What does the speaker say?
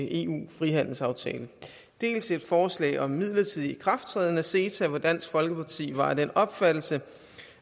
en frihandelsaftale dels et forslag om en midlertidig ikrafttræden af ceta hvor dansk folkeparti var af den opfattelse